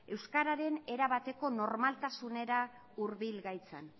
euskararen erabateko normaltasunera hurbil gaitzan